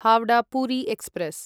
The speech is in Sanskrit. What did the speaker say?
हावडा पुरी एक्स्प्रेस्